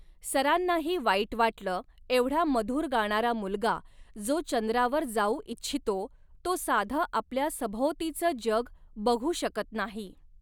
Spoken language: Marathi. सरांनाही वाईट वाटलं एवढा मधूर गाणारा मुलगा जो चंद्रावर जावू ईच्छितो तो साधं आपल्या सभोवतीचं जग बघु शकत नाही.